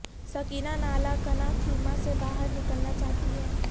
سکینہ نالہ کناں خیمہ سے باہر نکلنا چاہتی ہیں